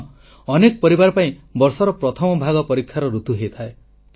ହଁ ଅନେକ ପରିବାର ପାଇଁ ବର୍ଷର ପ୍ରଥମ ଭାଗ ପରୀକ୍ଷାର ଋତୁ ହୋଇଥାଏ